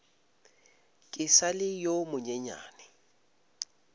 ke sa le yo monyenyane